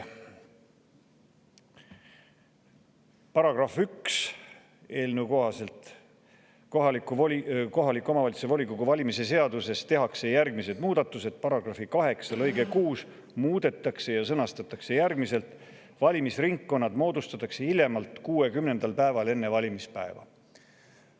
Paragrahv 1 on eelnõu kohaselt järgmine: "Kohaliku omavalitsuse volikogu valimise seaduses tehakse järgmised muudatused: 1) paragrahvi 8 lõige 6 muudetakse ja sõnastatakse järgmiselt: "Valimisringkonnad moodustatakse hiljemalt 60. päeval enne valimispäeva."